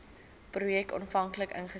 projek aanvanklik ingestel